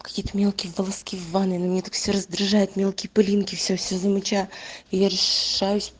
какие мелкие волоски в ванной они меня так все раздражают мелкие пылинки все-все замечаю и я решаюсь